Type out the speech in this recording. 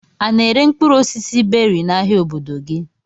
A na-ere mkpụrụ osisi beri n'ahia obodo gị?